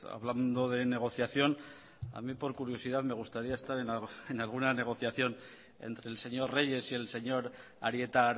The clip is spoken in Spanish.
hablando de negociación a mí por curiosidad me gustaría estar en alguna negociación entre el señor reyes y el señor arieta